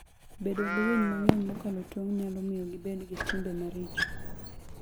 Bedo gi winy mang'eny mokalo tong' nyalo miyo gibed gi timbe maricho.